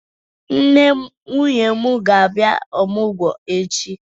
Nne nwunye m ga-abịa ọmụgwọ echi.